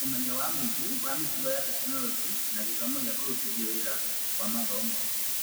ũmenyo wa mũingĩ na mĩtugo ya Tekinoronjĩ ya Gĩthomo na kũrutithio wĩra kwa mathomo.